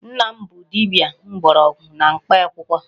Nna m bụ dibịa mgbọrọgwụ na mkpa akwụkwọ.